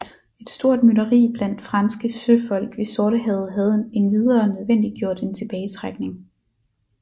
Et stort mytteri blandt franske søfolk ved Sortehavet havde endvidere nødvendiggjort en tilbagetrækning